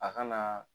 A kanaaa